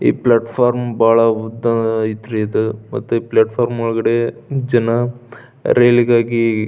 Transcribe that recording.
ಈ platform ಬಹಳ ಉದ್ದ ಅಯ್ತ್ರಿ ಇದು ಮತ್ತೆ ಫ್ಲಾಟ್ ಫಾರಂ ಒಳಗಡೆ ಜನ ರೈಲಿಗಾಗಿ --